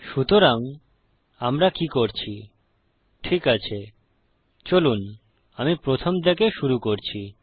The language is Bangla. সুতরাং আমরা কি করছি ঠিক আছে চলুন আমি প্রথম থেকে শুরু করি